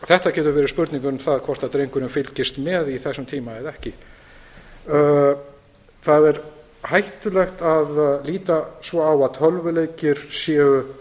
þetta getur verið spurning um það hvort drengurinn fylgist með í þessum tíma eða ekki það er hættulegt að líta svo á að tölvuleikir séu